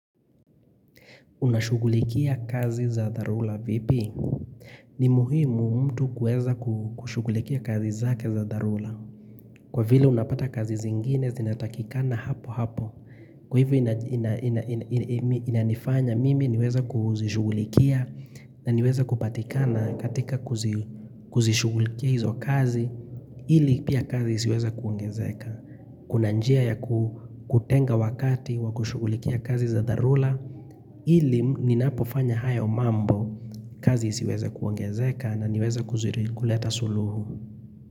Unashugulikia kazi za dharura vipi? Ni muhimu mtu kueza kushugulikia kazi zake za dharura. Kwa vile unapata kazi zingine zinatakikana hapo hapo. Kwa hivyo inanifanya mimi niweza kuzishugulikia na niweza kupatikana katika kuzishugulikia hizo kazi ili pia kazi siweza kuongezeka. Kuna njia ya kutenga wakati wa kushugulikia kazi za dharura. Ili ni napofanya haya mambo kazi isiweza kuongezeka na niweza kuleta suluhu.